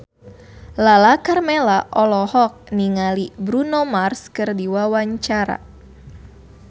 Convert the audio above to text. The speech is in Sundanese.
Lala Karmela olohok ningali Bruno Mars keur diwawancara